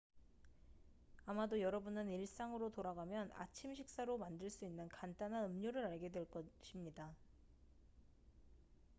아마도 여러분은 일상으로 돌아가면 아침 식사로 만들 수 있는 간단한 음료를 알게 될 것입니다